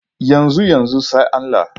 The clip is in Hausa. Yanzu-yanzu, sai Allah.